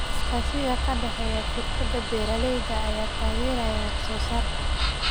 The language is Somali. Iskaashiga ka dhexeeya shirkadaha beeralayda ayaa taageeraya wax soo saarka.